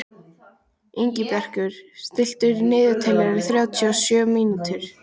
Ingibjartur, stilltu niðurteljara á þrjátíu og sjö mínútur.